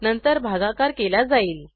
नंतर भागाकार केला जाईल